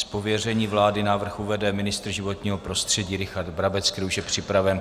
Z pověření vlády návrh uvede ministr životního prostředí Richard Brabec, který už je připraven.